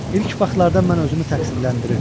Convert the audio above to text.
İlk vaxtlarda mən özümü təqsirləndirirdim.